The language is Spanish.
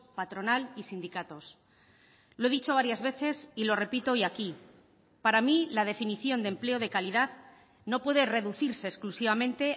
patronal y sindicatos lo he dicho varias veces y lo repito hoy aquí para mí la definición de empleo de calidad no puede reducirse exclusivamente